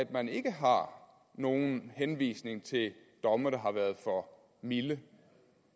man ikke har nogen henvisning til domme der har været for milde